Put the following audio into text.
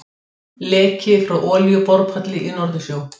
Leki frá olíuborpalli í Norðursjó.